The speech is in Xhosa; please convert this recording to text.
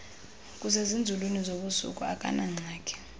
kusezinzulwini zobusuku akanangxaki